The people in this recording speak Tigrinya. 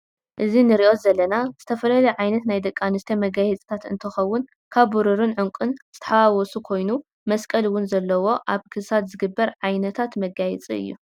እዚ ንሪዞ ዘለና ዝተፈላለዩ ዓይነት ናይ ደቂ አንስትዮ መጋየፂታት እንትኮውን ካብ ብሩሩን ዕንቁን ዝተሓዋወሱ ኮይኑ መስቀል እውን ዘለዎ አብ ክሳድ ዝግበር ዓይነታት መጋየፂ እዩ።